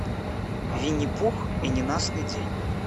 винни пух и ненастный день